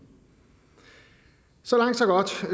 så langt så godt så